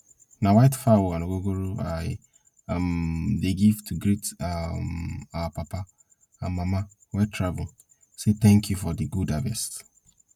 na white fowl and ogogoro i um dey give to greet um our papa and mama wey travel say thank you for di good harvest